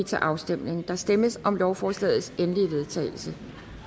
til afstemning der stemmes om lovforslagets endelige vedtagelse